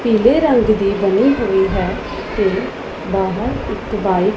ਪੀਲੇ ਰੰਗ ਦੀ ਬਨੀ ਹੋਈ ਹੈ ਤੇ ਬਾਹਰ ਇੱਕ ਬਾਇਕ --